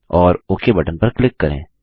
और okay button पर click करें